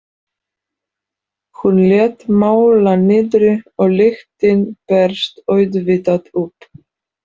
Hún lét mála niðri og lyktin barst auðvitað upp.